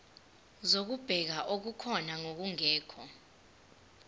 zokubheka okukhona nokungekho